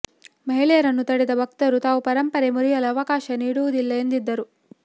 ಮಹಿಳೆಯರನ್ನು ತಡೆದ ಭಕ್ತರು ತಾವು ಪರಂಪರೆ ಮುರಿಯಲು ಅವಕಾಶ ನೀಡುವುದಿಲ್ಲ ಎಂದಿದ್ದರು